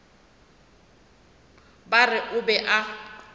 ba re o be a